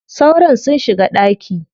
Sauron sun shiga ɗaki.